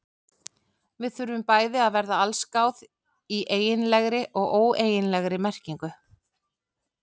Við þurfum bæði að verða allsgáð í eiginlegri og óeiginlegri merkingu.